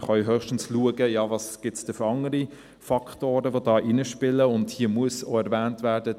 Wir können höchstens schauen, welche anderen Faktoren es gibt, die da hineinspielen, und hier muss auch erwähnt werden: